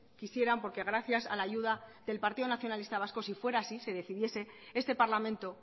quisieran porque gracias a la ayuda del partido nacionalista vasco si fuera así si decidiese este parlamento